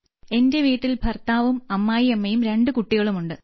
എന്റെ വീട്ടിൽ ഭർത്താവും അമ്മായിയമ്മയും രണ്ട് കുട്ടികളുമുണ്ട്